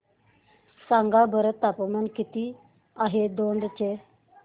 सांगा बरं तापमान किती आहे दौंड चे